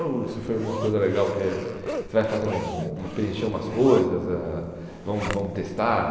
Oh Isso foi uma coisa legal, porque você vai fazer hum preencher umas coisas, ãh vão vamos testar.